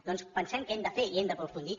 doncs pensem què hem de fer i hem d’aprofundir